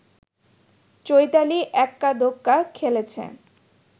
চৈতালি এক্কাদোক্কা খেলেছে